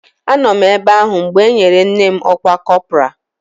Anọ m ebe ahụ mgbe e nyere nne m ọkwa kọpọraa